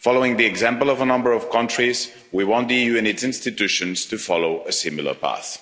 Following the example of a number of countries, we want the EU and its institutions to follow a similar path.